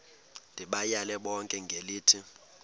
ndibayale bonke ngelithi